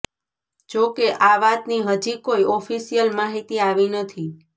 જોકે આ વાતની હજી કોઇ ઑફિશિયલ માહિતી આવી નથી